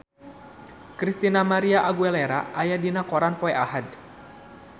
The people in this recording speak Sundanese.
Christina María Aguilera aya dina koran poe Ahad